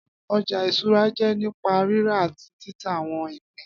Ọjà ìṣúra jẹ́ nípa rírà àti títa àwọn ìpín